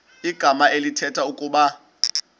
igama elithetha ukuba